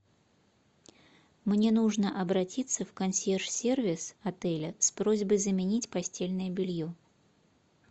мне нужно обратиться в консьерж сервис отеля с просьбой заменить постельное белье